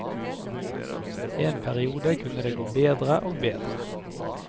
En periode kunne det gå bedre og bedre.